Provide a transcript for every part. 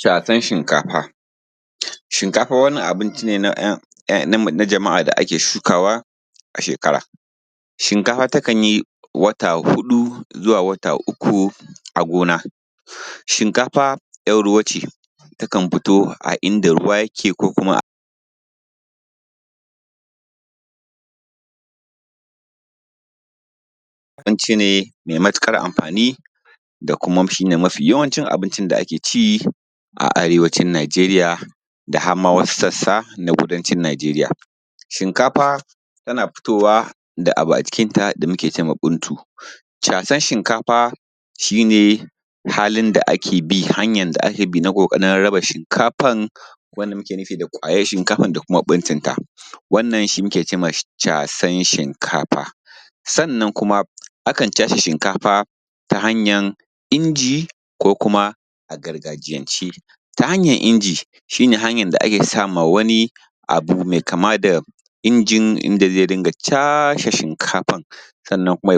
Casan Shinkafa. Shinkafa wani abinci ne na jama’a da ake shukawa a shekara. Shinkafa takan yi wata huɗu zuwa wata uku a gona. Shinkafa yar ruwa ce, takan fito a inda ruwa yake ko kuma abinci ne mai matuƙar am fani, da kuma shi ne mafi yawancin abincin da ake ci a Arewacin Najeriya, da har ma wasu sassa na Kudancin Najeriya. Shinkafa tana fitowa da abu a cikin ta da muke cema ɓuntu. Casan shinkafa shi ne halin da ake bi, hanƴar da ake bi na ƙokarin raba shinkafan wanda muke nufi da ƙwayan shinkafan kuma ɓuntun ta, wannan shi muke cema casan shinkafa. Sannan kuma akan case shinkafa ta hanƴar inji ko kuma a gargajiyance. Ta hanƴar inji, shi ne hanƴan ake sama wani abu mai kama da injin inda zai dinƴa case shinkafan sannan kuma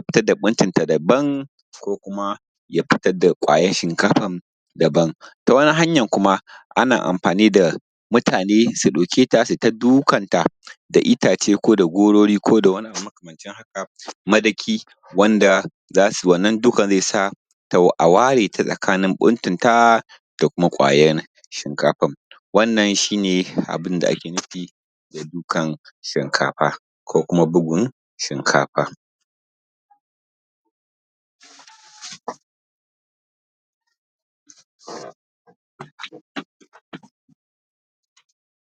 ya fitar da ƙwayar shinkafan da ban. Ta wani hanƴan kuma ana am fani da mutane su ɗauke ta su yi ta dukan ta da itace ko da gorori ko da wani abu makamancin haka, madaki wanda za su wannan dukan zai sa a ware ta tsakanin ɓuntun ta da kuma ƙwayan shinkafan. Wannan shi ne abun da ake nufi da dukan shinkafa, ko kuma bugun shinkafa.